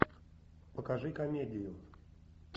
покажи комедию